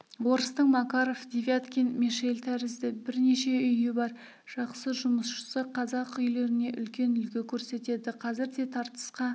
орыстың макаров девяткин мешель тәрізді бірнеше үйі бар жақсы жұмысшысы қазақ үйлеріне үлкен үлгі көрсетеді қазір де тартысқа